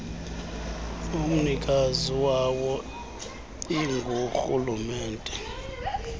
amnikazi wawo ingurhulumente